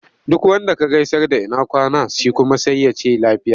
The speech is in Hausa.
Duk wanda ka gaisar da ina kwana? Shi kuma sai ya ce lafiya.